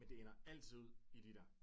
Men det ender altid ud i de der